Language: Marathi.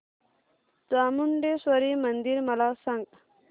चामुंडेश्वरी मंदिर मला सांग